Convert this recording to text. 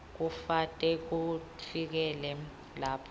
kute kufikele lapho